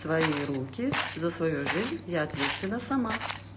твои руки за свою жизнь я ответственна сама